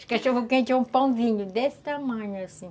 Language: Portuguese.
Os cachorro-quente é um pãozinho desse tamanho assim.